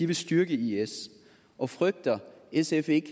vil styrke is og frygter sf ikke